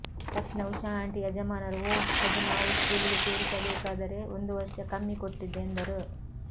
ತಕ್ಷಣ ಉಷಾ ಆಂಟಿ ಯಜಮಾನರು ಒಹ್ ಅದು ನಾವು ಸ್ಕೂಲಿಗೆ ಸೇರಿಸಬೇಕಾದರೆ ಒಂದು ವರ್ಷ ಕಮ್ಮಿ ಕೊಟ್ಟಿದ್ದೆ ಎಂದರು